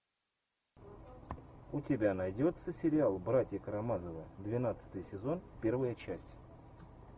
у тебя найдется сериал братья карамазовы двенадцатый сезон первая часть